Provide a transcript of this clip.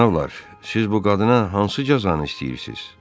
Cənablar, siz bu qadına hansı cəzanı istəyirsiz?